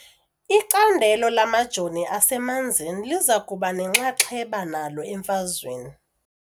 Icandelo lamajoni asemanzini liza kuba nenxaxheba nalo emfazweni .